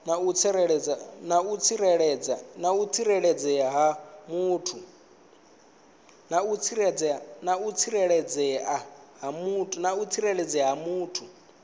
na u tsireledzea ha muthu